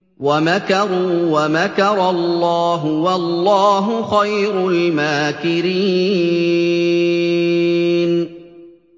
وَمَكَرُوا وَمَكَرَ اللَّهُ ۖ وَاللَّهُ خَيْرُ الْمَاكِرِينَ